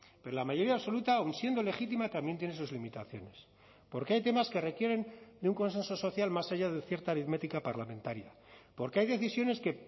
pero la mayoría absoluta aun siendo legítima también tiene sus limitaciones porque hay temas que requieren de un consenso social más allá de cierta aritmética parlamentaria porque hay decisiones que